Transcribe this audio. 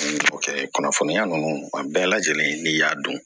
Kunnafoniya ninnu a bɛɛ lajɛlen n'i y'a dɔn